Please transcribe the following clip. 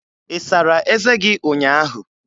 Ị sara eze gị ụnyaahụ?